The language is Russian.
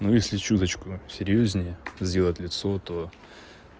если чуточку серьёзнее сделать лицо то